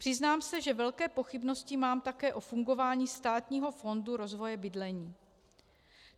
Přiznám se, že velké pochybnosti mám také o fungování Státního fondu rozvoje bydlení.